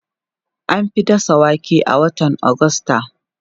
An fi dasa wake a watan Agusta.